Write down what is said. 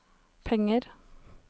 penger